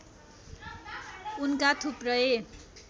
उनका थुप्रै